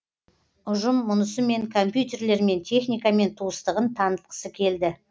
ұжым мұнысымен компьютерлермен техникамен туыстығын танытқысы келді